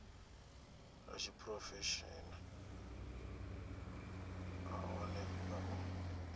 lwa tshiphurofeshenaḽa nahone nga u